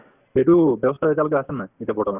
সেইটো ব্যৱস্থাতো এতিয়ালৈকে আছে নে নাই এতিয়া বৰ্তমান